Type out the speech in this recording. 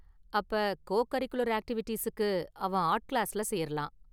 அப்ப co curricular ஆக்டிவிட்டிஸுக்கு அவன் ஆர்ட் கிளாஸ்ல சேரலாம்.